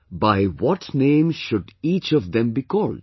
by what name should each of them be called